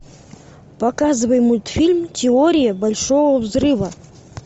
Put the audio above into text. показывай мультфильм теория большого взрыва